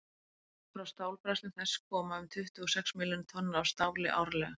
frá stálbræðslum þess koma um tuttugu og sex milljónir tonna af stáli árlega